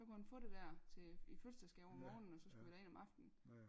Så kunne han få det der til i fødselsdagsgave om morgenen og så skulle vi derind om aftenen